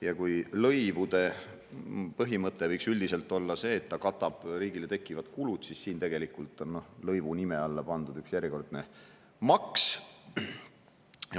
Ja kui lõivu põhimõte võiks üldiselt olla see, et see katab riigile tekkivad kulud, siis siin on tegelikult lõivu nime alla pandud üks järjekordne maks.